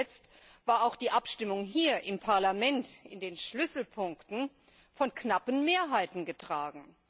Nicht zuletzt war auch die Abstimmung hier im Parlament in den Schlüsselpunkten von knappen Mehrheiten getragen.